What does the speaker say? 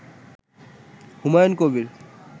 Humayun Kabir